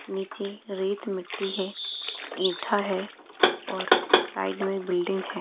नीचे रेत मिटटी है ईठा है और साइड में बिल्डिंग है।